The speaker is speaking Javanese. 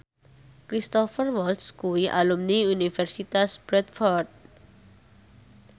Cristhoper Waltz kuwi alumni Universitas Bradford